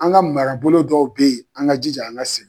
An ka marabolo dɔw bɛ yen, an ka jija an ka segin.